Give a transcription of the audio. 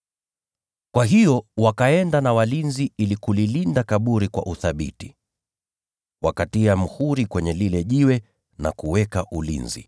Kwa hiyo wakaenda na walinzi ili kulilinda kaburi kwa uthabiti, wakatia muhuri kwenye lile jiwe na kuweka ulinzi.